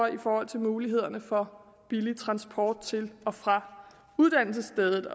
i forhold til mulighederne for billig transport til og fra uddannelsesstedet